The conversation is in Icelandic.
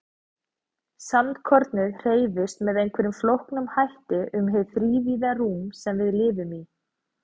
Sandkornið hreyfist með einhverjum flóknum hætti um hið þrívíða rúm sem við lifum í.